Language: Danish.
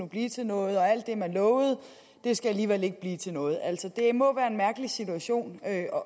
blive til noget og at alt det man lovede alligevel ikke skal blive til noget altså det må være en mærkelig situation at